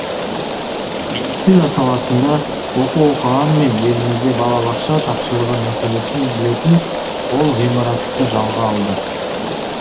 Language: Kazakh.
медицина саласында оқу оқығанымен елімізде балабақша тапшылығы мәселесін білетін ол ғимаратты жалға алды